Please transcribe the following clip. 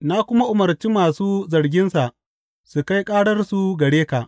Na kuma umarci masu zarginsa su kai ƙararsu gare ka.